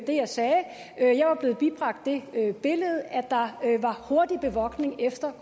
det jeg sagde jeg var blevet bibragt det billede at der var hurtig bevogtning efter